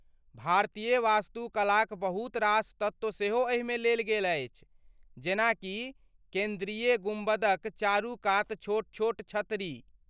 भारतीय वास्तुकलाक बहुत रास तत्व सेहो एहिमे लेल गेल अछि, जेना कि केन्द्रीय गुम्बदक चारू कात छोट छोट छतरी।